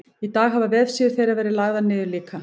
í dag hafa vefsíður þeirra verið lagðar niður líka